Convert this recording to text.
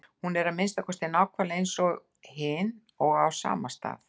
Hún er að minnsta kosti nákvæmlega eins og hin og á sama stað.